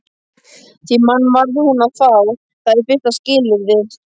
Því mann varð hún að fá, það er fyrsta skilyrðið.